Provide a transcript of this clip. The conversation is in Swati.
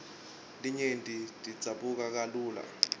letinye tidzabuka kalula